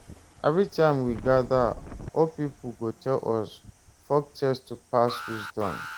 Every time we gather, old people go tell us folktales to pass wisdom.